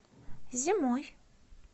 зимой